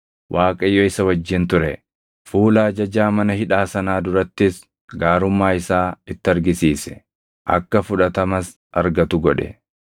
Waaqayyo isa wajjin ture; fuula ajajaa mana hidhaa sanaa durattis gaarummaa isaa itti argisiise; akka fudhatamas argatu godhe.